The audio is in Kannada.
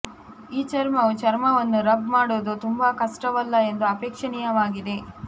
ಈ ಚರ್ಮವು ಚರ್ಮವನ್ನು ರಬ್ ಮಾಡುವುದು ತುಂಬಾ ಕಷ್ಟವಲ್ಲ ಎಂದು ಅಪೇಕ್ಷಣೀಯವಾಗಿದೆ